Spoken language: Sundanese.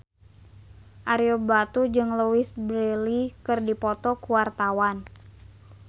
Ario Batu jeung Louise Brealey keur dipoto ku wartawan